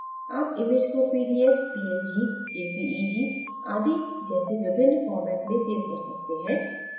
आप image को PDF PNG JPEG आदि जैसे विभिन्न फॉर्मेट में सेव कर सकते हैं